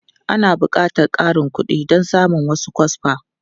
Ana buƙatar ƙarin kuɗi don samun wasu kwasfa.